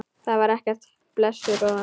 Það var ekkert, blessuð góða.